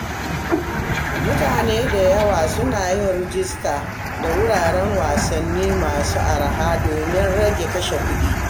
Mutane da yawa suna yin rajista da wuraren wasanni masu arha domin rage kashe kuɗi.